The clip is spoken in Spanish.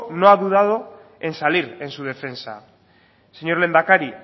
no ha dudado en salir en su defensa señor lehendakari